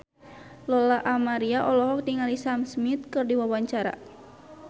Lola Amaria olohok ningali Sam Smith keur diwawancara